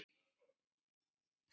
Erla: Hvað er betra hérna?